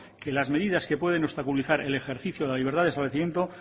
que las medidas que pueden obstaculizar el ejercicio de la libertad de establecimiento